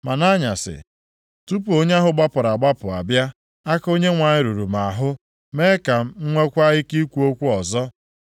Ma nʼanyasị, tupu onye ahụ gbapụrụ agbapụ abịa, aka Onyenwe anyị ruru m ahụ, mee ka m nweekwa ike ikwu okwu ọzọ.